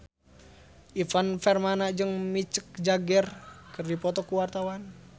Ivan Permana jeung Mick Jagger keur dipoto ku wartawan